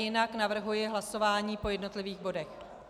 Jinak navrhuji hlasování po jednotlivých bodech.